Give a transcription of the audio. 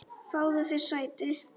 Fáðu þér sæti!